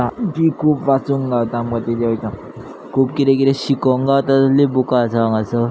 बी खूप वाचुंक गावता मधी मेळटा खूप कीदे कीदे शिकोंक गावता तसली बूका आसा हांगासर.